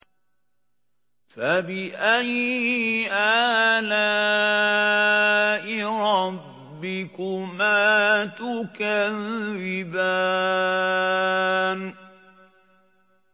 فَبِأَيِّ آلَاءِ رَبِّكُمَا تُكَذِّبَانِ